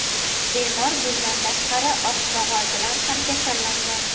Bemor bundan tashqari "oq mog‘or" bilan ham kasallangan.